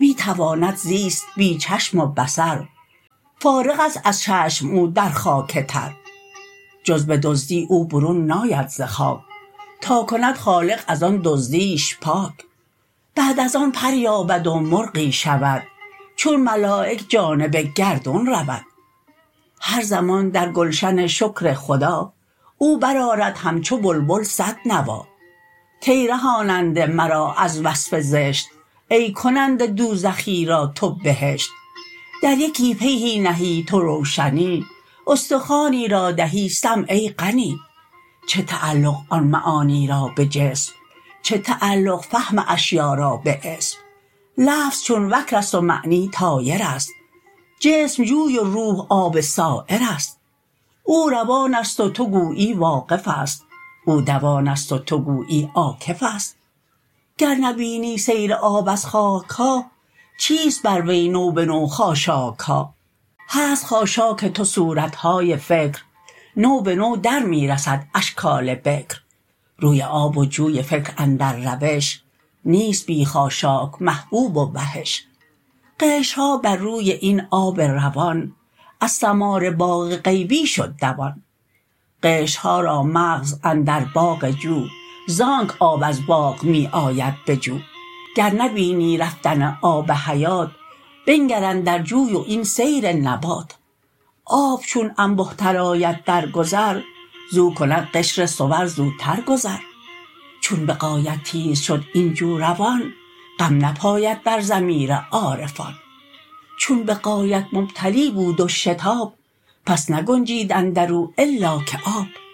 می تواند زیست بی چشم و بصر فارغست از چشم او در خاک تر جز بدزدی او برون ناید ز خاک تا کند خالق از آن دزدیش پاک بعد از آن پر یابد و مرغی شود چون ملایک جانب گردون رود هر زمان در گلشن شکر خدا او بر آرد همچو بلبل صد نوا کای رهاننده مرا از وصف زشت ای کننده دوزخی را تو بهشت در یکی پیهی نهی تو روشنی استخوانی را دهی سمع ای غنی چه تعلق آن معانی را به جسم چه تعلق فهم اشیا را به اسم لفظ چون وکرست و معنی طایرست جسم جوی و روح آب سایرست او روانست و تو گویی واقفست او دوانست و تو گویی عاکفست گر نبینی سیر آب از چاکها چیست بر وی نو به نو خاشاکها هست خاشاک تو صورتهای فکر نو بنو در می رسد اشکال بکر روی آب و جوی فکر اندر روش نیست بی خاشاک محبوب و وحش قشرها بر روی این آب روان از ثمار باغ غیبی شد دوان قشرها را مغز اندر باغ جو زانک آب از باغ می آید به جو گر نبینی رفتن آب حیات بنگر اندر جوی و این سیر نبات آب چون انبه تر آید در گذر زو کند قشر صور زوتر گذر چون بغایت تیز شد این جو روان غم نپاید در ضمیر عارفان چون بغایت ممتلی بود و شتاب پس نگنجید اندرو الا که آب